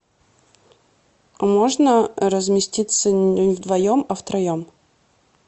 можно разместиться не вдвоем а втроем